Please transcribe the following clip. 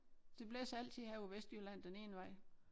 Det blæser altid her på Vestjylland den ene vej